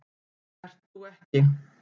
Ert þú ekki